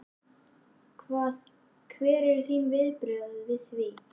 Hvað, hver eru þín viðbrögð við því?